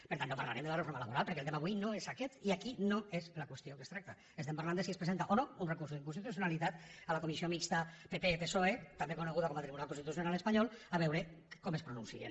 per tant no parlarem de la reforma laboral perquè el tema avui no és aquest i aquí no és la qüestió que es tracta estem parlant de si es presenta o no un recurs d’inconstitucionalitat a la comissió mixta pp psoe també coneguda com a tribunal constitucional espanyol a veure com es pronuncien